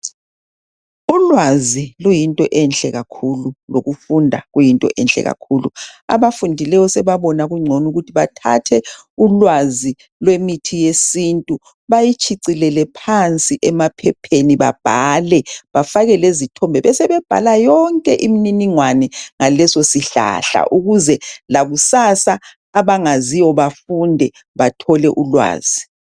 Ulwazi luyinto enhle kakhulu lokufunda kuyinto enhle kakhulu. Abafundileyo sebabona kungconukuthi bathathe ulwazi lemithi yesintu bayitshicilele phansi emaphepheni babhale bafakele zithombe besebebhala yonke imniningwane ngalesosihlahla ukuze lakusasa abangaziyo bafunde bathole ulwazi.